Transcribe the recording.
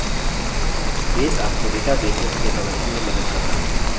base आपको databases के प्रबंधन में मदद करता है